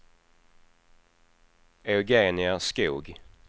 Eugenia Skoog